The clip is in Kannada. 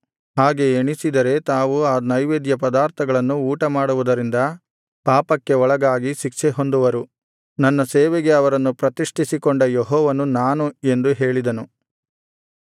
ಹಾಗೆ ಎಣಿಸಿದರೆ ತಾವು ಆ ನೈವೇದ್ಯಪದಾರ್ಥಗಳನ್ನು ಊಟಮಾಡುವುದರಿಂದ ಪಾಪಕ್ಕೆ ಒಳಗಾಗಿ ಶಿಕ್ಷೆಹೊಂದುವರು ನನ್ನ ಸೇವೆಗೆ ಅವರನ್ನು ಪ್ರತಿಷ್ಠಿಸಿಕೊಂಡ ಯೆಹೋವನು ನಾನು ಎಂದು ಹೇಳಿದನು